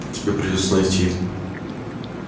тебе придётся найти